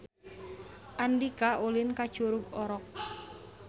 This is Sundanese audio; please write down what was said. Andika ulin ka Curug Orok